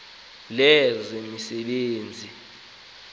lezemisebenzi